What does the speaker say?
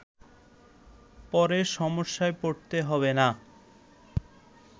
পরে সমস্যায় পড়তে হবে না